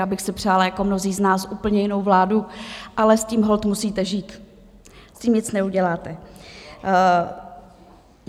Já bych si přála jako mnozí z nás úplně jinou vládu, ale s tím holt musíte žít, s tím nic neuděláte.